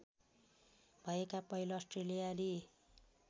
भएका पहिलो अस्ट्रेलियाली